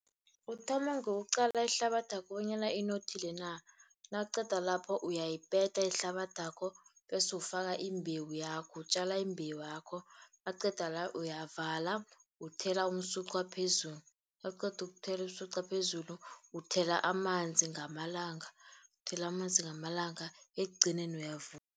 Uthoma ngokuqala ihlabathakho bonyana inothile na. Nawuqeda lapho uyayipeta ihlabathakho, bese ufaka imbewu yakho, utjala imbewakho, nawuqeda la uyavala uthela umsucwa phezulu. Nawuqeda ukuthela umsucwa phezulu, uthela amanzi ngamalanga, uthela amanzi ngamalanga ekugcineni uyavuna